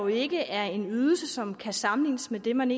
ikke er en ydelse som kan sammenlignes med det man